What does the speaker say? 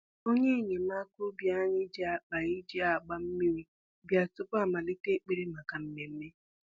Onye enyemaka ubi anyị ji akpa e ji agba mmiri bịa tupu amalite ekpere maka mmemme